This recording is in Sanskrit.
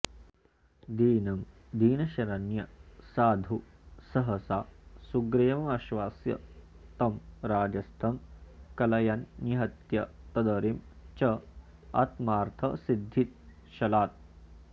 दीनं दीनशरण्य साधु सहसा सुग्रीवमाश्वास्य तं राज्यस्थं कलयन्निहत्य तदरिं चात्मार्थसिद्धिच्छलात्